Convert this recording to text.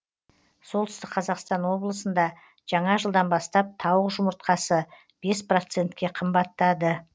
солтүстік қазақстан облысында жаңа жылдан бастап тауық жұмыртқасы бес процентке қымбаттады